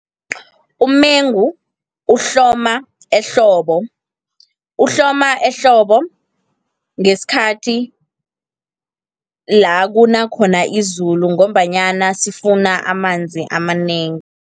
Umengu uhloma ehlobo. Uhloma ehlobo, ngesikhathi lakuna khona izulu, ngombanyana sifuna amanzi amanengi.